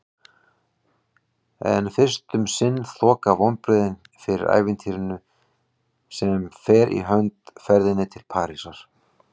En fyrst um sinn þoka vonbrigðin fyrir ævintýrinu sem fer í hönd: ferðinni til Parísar.